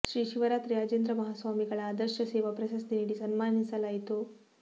ಶ್ರೀ ಶಿವರಾತ್ರಿ ರಾಜೇಂದ್ರ ಮಹಾಸ್ವಾಮಿಗಳ ಆದರ್ಶ ಸೇವಾ ಪ್ರಶಸ್ತಿ ನೀಡಿ ಸನ್ಮಾನಿಸಲಾಯಿತು